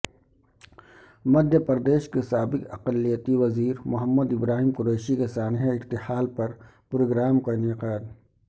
مدھیہ پردیش کے سابق اقلیتی وزیر محمد ابراہیم قریشی کے سانحہ ارتحال پرپروگرام کا انعقاد